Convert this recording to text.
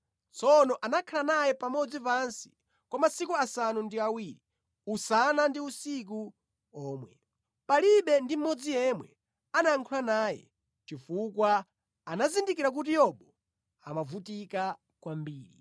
Tsono anakhala naye pamodzi pansi kwa masiku asanu ndi awiri, usana ndi usiku omwe. Palibe ndi mmodzi yemwe anayankhula naye, chifukwa anazindikira kuti Yobu amavutika kwambiri.